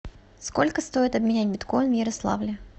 сколько стоит обменять биткоин в ярославле